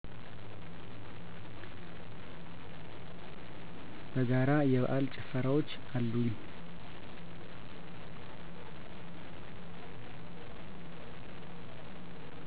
በጋራ የበአል ጭፈራወች። አሉኝ